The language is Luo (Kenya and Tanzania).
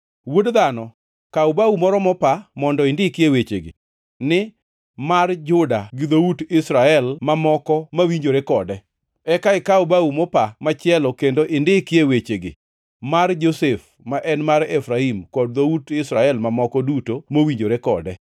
“Wuod dhano, kaw bao moro mopa mondo indikie wechegi ni, ‘Mar jo-Juda gi dhout Israel mamoko mawinjore kode.’ Eka ikaw bao mopa machielo kendo indikie wechegi, ‘Mar Josef (ma en mar Efraim) kod dhout Israel mamoko duto mawinjore kode.’